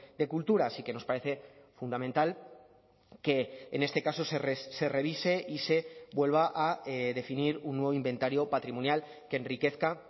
de cultura así que nos parece fundamental que en este caso se revise y se vuelva a definir un nuevo inventario patrimonial que enriquezca